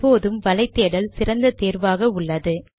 எப்போதும் வலை தேடல் சிறந்த தேர்வாக உள்ளது